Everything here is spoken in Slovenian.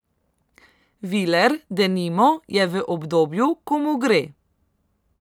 Viler, denimo, je v obdobju, ko mu gre.